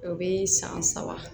O bɛ san saba